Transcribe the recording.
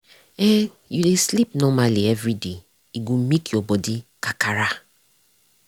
e you dey sleep normally everyday e go make your body kakara.